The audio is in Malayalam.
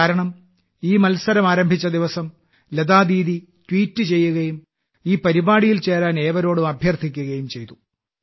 കാരണം ഈ മത്സരം ആരംഭിച്ച ദിവസം ലതാ ദീദി ട്വീറ്റ് ചെയ്യുകയും ഈ പരിപാടിയിൽ ചേരാൻ ഏവരോടും അഭ്യർത്ഥിക്കുകയും ചെയ്തിരുന്നു